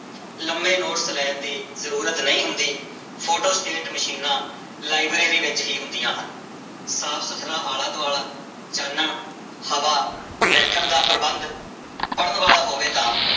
ਲੰਮੇ ਨੋਟਸ ਲੈਣ ਦੀ ਜ਼ਰੂਰਤ ਨਹੀਂ ਹੁੰਦੀ, ਫੋਟੋਸਟੇਟ ਮਸ਼ੀਨਾਂ ਲਾਇਬ੍ਰੇਰੀ ਵਿੱਚ ਹੀ ਹੁੰਦੀਆਂ ਹਨ, ਸਾਫ਼ ਸੁੱਥਰਾ ਆਲਾ ਦੁਆਲਾ ਚਾਨਣ ਹਵਾ, ਬੈਠਣ ਦਾ ਪ੍ਰਬੰਧ ਪੜ੍ਹਨ ਵਾਲਾ ਹੋਵੇ ਤਾਂ